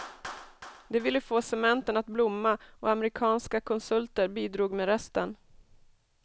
De ville få cementen att blomma och amerikanska konsulter bidrog med resten.